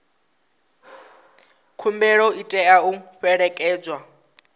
khumbelo i tea u fhelekedzwa